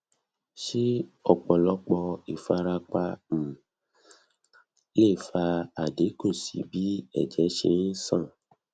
se opolopo ifarapa um le fa adinku si bi eje se n san